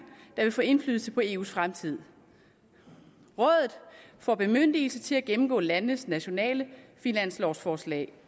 der vil få indflydelse på eus fremtid rådet får bemyndigelse til at gennemgå landenes nationale finanslovforslag